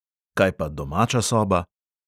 Kaj pa domača soba?